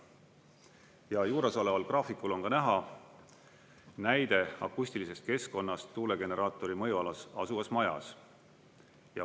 Ja juuresoleval graafikul on ka näha näide akustilisest keskkonnast tuulegeneraatori mõjualas asuvas majas.